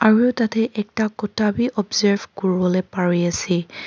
aru tatae ekta kura bi observe kuriwo lae parease.